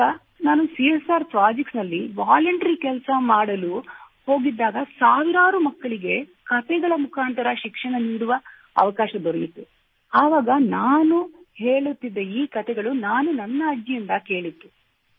ಆಗ ನಾನು CSR projects ನಲ್ಲಿ ವಾಲಂಟರಿ ಕೆಲಸ ಮಾಡುವುದಕ್ಕಾಗಿ ಹೋಗಿದ್ದಾಗ ಸಾವಿರಾರು ಮಕ್ಕಳಿಗೆ ಕತೆಗಳ ಮುಖಾಂತರ ಶಿಕ್ಷಣ ನೀಡುವ ಅವಕಾಶ ದೊರೆತಿತ್ತು ಮತ್ತು ನಾನು ಹೇಳುತ್ತಿದ್ದ ಈ ಕತೆ ಅವರು ತಮ್ಮ ಅಜ್ಜಿಯಿಂದ ಕೇಳಿದ್ದರು